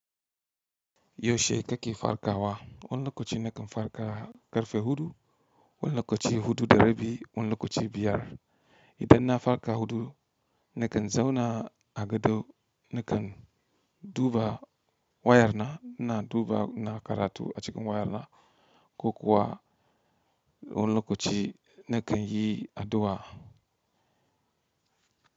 Yaushe kake farkawa? Wane lokaci ne kan farka ƙarfe huɗu, wane lokaci huɗu da rabi, wane lokaci biyar? Idan na farka huɗu, nakan zauna a gado nakan duba wayarna ina duba na karatu a cikin wayarna, ko kuwa wani lokaci nakan yi addu'a.